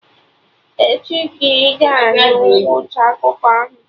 Echi ka ị ga-anụ ngwụcha akụkọ ahụ